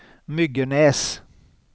Myggenäs